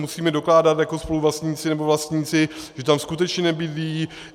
Musíme dokládat jako spoluvlastníci nebo vlastníci, že tam skutečně nebydlí.